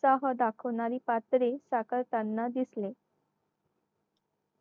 उत्साह दाखवणारी पाखरे साकारताना दिसली